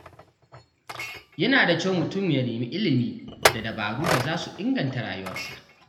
Yana da kyau mutum ya nemi ilimi da dabaru da za su inganta rayuwarsa.